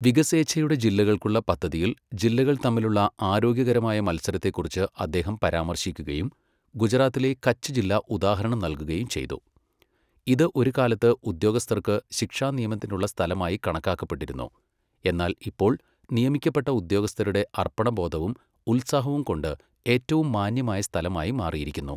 വികസേഛയുടെ ജില്ലകൾക്കുള്ള പദ്ധതിയിൽ ജില്ലകൾ തമ്മിലുള്ള ആരോഗ്യകരമായ മത്സരത്തെക്കുറിച്ച് അദ്ദേഹം പരാമർശിക്കുകയും ഗുജറാത്തിലെ കച്ച് ജില്ല ഉദാഹരണം നൽകുകയും ചെയ്തു, ഇത് ഒരു കാലത്ത് ഉദ്യോഗസ്ഥർക്ക് ശിക്ഷാ നിയമനത്തിനുള്ള സ്ഥലമായി കണക്കാക്കപ്പെട്ടിരുന്നു, എന്നാൽ ഇപ്പോൾ നിയമിക്കപ്പെട്ട ഉദ്യോഗസ്ഥരുടെ അർപ്പണബോധവും ഉത്സാഹവും കൊണ്ട് ഏറ്റവും മാന്യമായ സ്ഥലമായി മാറിയിരിക്കുന്നു.